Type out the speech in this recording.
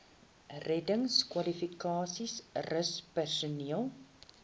reddingskwalifikasies rus personeel